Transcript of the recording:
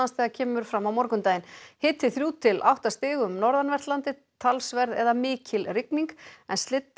þegar kemur fram á morgundaginn hiti þrjú til átta stig um norðanvert landið talsverð eða mikil rigning en